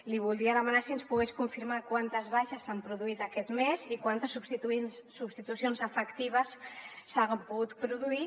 li voldria demanar si ens pogués confirmar quantes baixes s’han produït aquest mes i quantes substitucions efectives s’han pogut produir